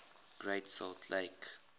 great salt lake